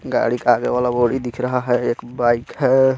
गाड़ी का आगे वाला बोडी दिख रहा हैं एक बाइक हे.